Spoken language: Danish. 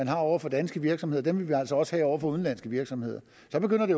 er over for danske virksomheder vil vi altså også have over for udenlandske virksomheder så begynder det